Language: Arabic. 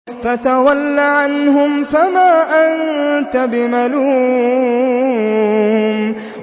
فَتَوَلَّ عَنْهُمْ فَمَا أَنتَ بِمَلُومٍ